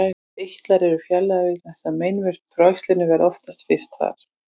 Þessir eitlar eru fjarlægðir vegna þess að meinvörp frá æxlinu verða oftast fyrst þar.